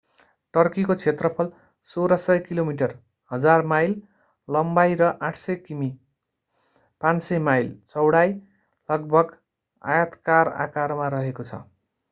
टर्कीको क्षेत्रफल 1,600 kilometre 1,000 mile लम्बाई र 800 किमि 500 माइल चौडाई लगभग आयताकार आकारमा रहेको छ।